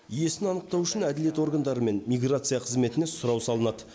иесін анықтау үшін әділет органдары мен миграция қызметіне сұрау салынады